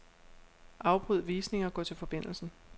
Afbryd visning og gå til forbindelsen.